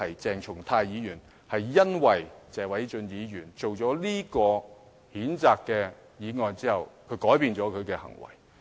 鄭松泰議員是因為謝偉俊議員提出這項譴責議案而改變了他的行為。